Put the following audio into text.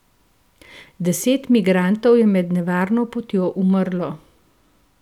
Deset migrantov je med nevarno potjo umrlo.